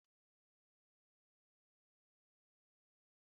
Ị ga-agụrụ m akụkọ n'abalị a?